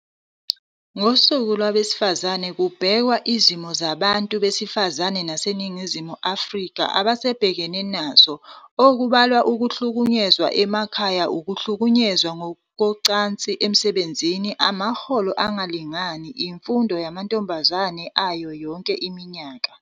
NgoSuku Lwabesifazane kubhekwa izimo abantu besifazane baseNingizimu Afrika abasabhekene nazo, okubalwa Ukuhlukunyezwa emakhaya, ukuhlunyezwa ngokucansi emsebenzini, amaholo angalingani, imfundo yamantombazane ayo yonke iminyaka.